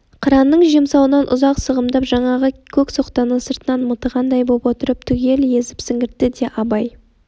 қыранның жемсауынан ұзақ сығымдап жаңағы көк соқтаны сыртынан мытығандай боп отырып түгел езіп сіңіртті де абай